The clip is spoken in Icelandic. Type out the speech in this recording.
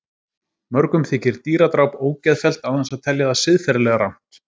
Mörgum þykir dýradráp ógeðfellt án þess að telja það siðferðilega rangt.